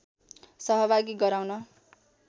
सहभागी गराउन